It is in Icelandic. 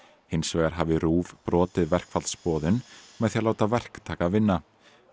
hins vegar hafi RÚV brotið verkfallsboðun með því að láta verktaka vinna